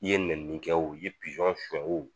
I ye nɛni kɛ o ye pizɔn sɔn